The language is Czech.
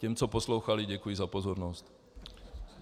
Těm, co poslouchali, děkuji za pozornost.